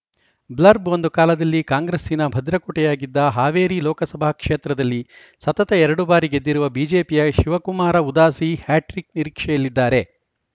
blurb ಒಂದು ಕಾಲದಲ್ಲಿ ಕಾಂಗ್ರೆಸ್ಸಿನ ಭದ್ರಕೋಟೆಯಾಗಿದ್ದ ಹಾವೇರಿ ಲೋಕಸಭಾ ಕ್ಷೇತ್ರದಲ್ಲಿ ಸತತ ಎರಡು ಬಾರಿ ಗೆದ್ದಿರುವ ಬಿಜೆಪಿಯ ಶಿವಕುಮಾರ ಉದಾಸಿ ಹ್ಯಾಟ್ರಿಕ್‌ ನಿರೀಕ್ಷೆಯಲ್ಲಿದ್ದಾರೆ